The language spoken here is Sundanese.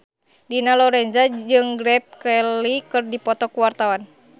Dina Lorenza jeung Grace Kelly keur dipoto ku wartawan